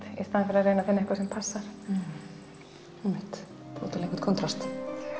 í staðinn fyrir að reyna að finna eitthvað sem passar einmitt búa til einhvern kontrast